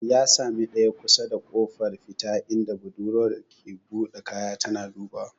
Ya sami ɗaya kusa da kofar fita inda budurwar ke buɗe kaya tana dubawa.